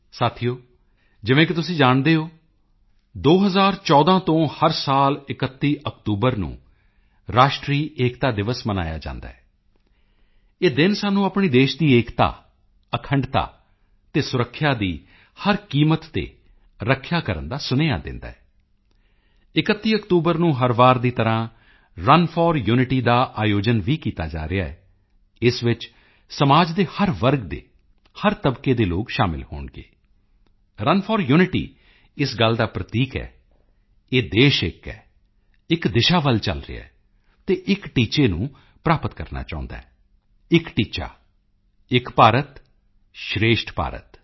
ਸਾਥੀਓ ਜਿਵੇਂ ਕਿ ਤੁਸੀਂ ਜਾਣਦੇ ਹੋ 2014 ਤੋਂ ਹਰ ਸਾਲ 31 ਅਕਤੂਬਰ ਨੂੰ ਰਾਸ਼ਟਰੀ ਏਕਤਾ ਦਿਵਸ ਮਨਾਇਆ ਜਾਂਦਾ ਹੈ ਇਹ ਦਿਨ ਸਾਨੂੰ ਆਪਣੇ ਦੇਸ਼ ਦੀ ਏਕਤਾ ਅਖੰਡਤਾ ਅਤੇ ਸੁਰੱਖਿਆ ਦੀ ਹਰ ਕੀਮਤ ਤੇ ਰੱਖਿਆ ਕਰਨ ਦਾ ਸੁਨੇਹਾ ਦਿੰਦਾ ਹੈ 31 ਅਕਤੂਬਰ ਨੂੰ ਹਰ ਵਾਰ ਦੀ ਤਰ੍ਹਾਂ ਰਨ ਫੋਰ ਯੂਨਿਟੀ ਦਾ ਆਯੋਜਨ ਵੀ ਕੀਤਾ ਜਾ ਰਿਹਾ ਹੈ ਇਸ ਵਿੱਚ ਸਮਾਜ ਦੇ ਹਰ ਵਰਗ ਦੇ ਹਰ ਤਬਕੇ ਦੇ ਲੋਕ ਸ਼ਾਮਿਲ ਹੋਣਗੇ ਰਨ ਫੋਰ ਯੂਨਿਟੀ ਇਸ ਗੱਲ ਦਾ ਪ੍ਰਤੀਕ ਹੈ ਇਹ ਦੇਸ਼ ਇੱਕ ਹੈ ਇੱਕ ਦਿਸ਼ਾ ਵਿੱਚ ਚਲ ਰਿਹਾ ਹੈ ਅਤੇ ਇੱਕ ਟੀਚੇ ਨੂੰ ਪ੍ਰਾਪਤ ਕਰਨਾ ਚਾਹੁੰਦਾ ਹੈ ਇੱਕ ਟੀਚਾ ਏਕ ਭਾਰਤ ਸ੍ਰੇਸ਼ਠ ਭਾਰਤ